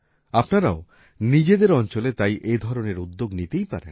আপনারাও নিজেদের অঞ্চলে তাই এ ধরনের উদ্যোগ নিতেই পারেন